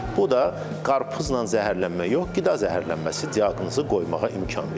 Bu da qarpızla zəhərlənmə yox, qida zəhərlənməsi diaqnozu qoymağa imkan verir.